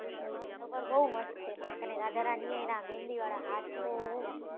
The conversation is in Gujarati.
પણ બઉ મસ્ત છે રાધા રાણી એ એના મહેંદી વાળા હાથ ધોયા હતા એમ